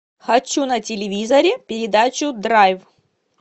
хочу на телевизоре передачу драйв